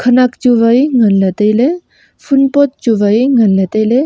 khanak chu wai nganley tailey phul pot chu wai nganley tailey.